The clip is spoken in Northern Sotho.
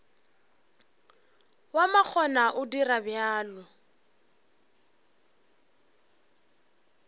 wa makgona o dira bjalo